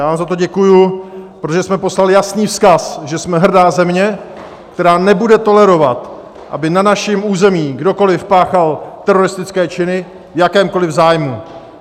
Já vám za to děkuji, protože jsme poslali jasný vzkaz, že jsme hrdá země, která nebude tolerovat, aby na našem území kdokoliv páchal teroristické činy v jakémkoliv zájmu.